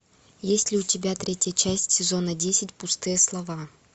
есть ли у тебя третья часть сезона десять пустые слова